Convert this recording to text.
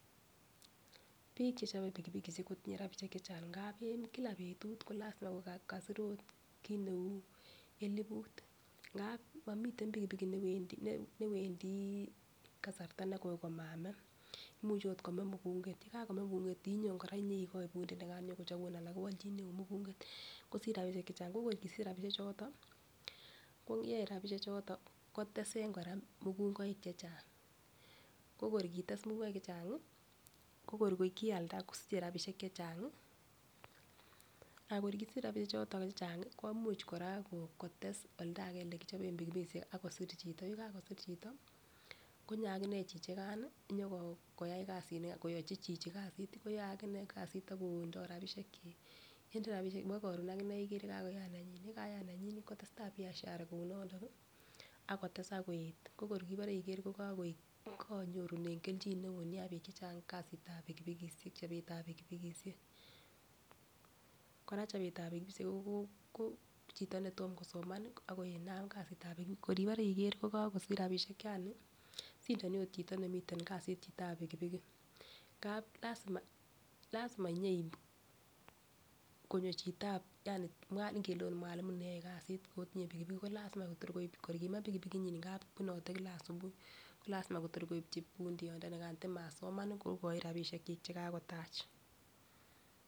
Bik chechobe pikipikishek kotinye rabishek chechang ngapi en kila betut ko lasima ko kasir ot kit neu elibut ngap momiten pikipiki newendii kasarta negoi komame, muche ot kome mukunget, yekakome mukunget inyon Koraa inyoikoi pundii nikan nyokochinun alan kowolchineu mukunget kosich rabishek chechang. Ko kor kosich rabishek choto koyoe rabishek choto kotesen Koraa mukungoik chechang ko kor kites mukungoik chechangi ko kor Kialda kosiche rabishek chechangi akor kosich rabishek choto chechangi komuch Koraa kotes oldakee olekichoben pikipikishek akosir chito, yekakosir chito konyor akinee chichikan nii nyoko koyai kasinikan koyochin chichi kasit koyoe akine kasit akondo rabishek chik. Yende rabishek chik nebo korun akinee ikere kakoyat nenyin yekayat nenyin kotestai biashara kou nondo nii akotesak koet ako kibore ikere ko kokotyet konyorunen keljin neo nia bik chechang kasitab pikipikishek chobetab pikipikishek. Koraa chobetab pikipikishek Koko chito netom kosoman nii akonam kasitab pikipiki kor ibore ikere kokokisich rabishek yani sindoni ot chito nemiten kasit chitab pikipiki ngap lasima lasima nyeib konyo chitab ngele ot mualimu neyoe kasit otinye pilipilik ko lasima Kotor koib kor kime pikipiki nyin ngap bunote kila asubuhi ko lasima Kotor koibchi pundiot ndonikan matin masoman kokochin rabishek chik chekakotach.